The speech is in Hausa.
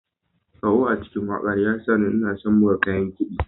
Ƙaho a cikin wakar ya sa ina son buga kayan kiɗi.